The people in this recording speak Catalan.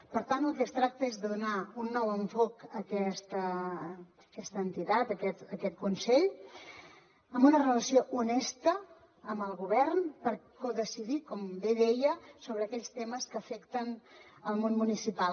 per tant el que es tracta és de donar un nou enfoc a aquesta entitat a aquest consell amb una relació honesta amb el govern per codecidir com bé deia sobre aquells temes que afecten el món municipal